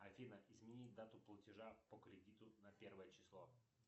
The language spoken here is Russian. афина изменить дату платежа по кредиту на первое число